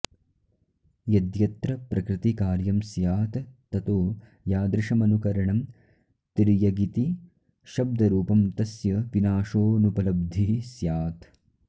यद्यत्र प्रकृतिकार्यं स्यात् ततो यादृशमनुकरणं तिर्यगिति शब्दरूपं तस्य विनाशोऽनुपलब्धिः स्यात्